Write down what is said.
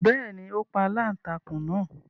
Bẹ́ẹ̀ni, ó pa aláǹtakùn náà